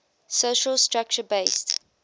social structure based